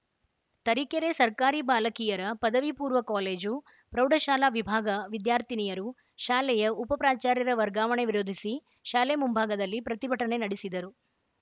ತರೀಕೆರೆ ಸರ್ಕಾರಿ ಬಾಲಕಿಯರ ಪದವಿ ಪೂರ್ವ ಕಾಲೇಜುಪ್ರೌಢಶಾಲಾ ವಿಭಾಗ ವಿದ್ಯಾರ್ಥಿನಿಯರು ಶಾಲೆಯ ಉಪ ಪ್ರಾಚಾರ್ಯರ ವರ್ಗಾವಣೆ ವಿರೋಧಿಸಿ ಶಾಲೆ ಮುಂಭಾಗದಲ್ಲಿ ಪ್ರತಿಭಟನೆ ನಡೆಸಿದರು